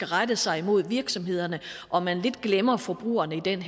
rette sig imod virksomhederne og at man lidt glemmer forbrugerne i den